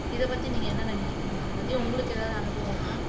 இதைப்பத்தி நீங்க என்ன நினைக்கிறீங்க மதுமதி உங்களுக்கு ஏதாவது அனுபவம் இருக்கா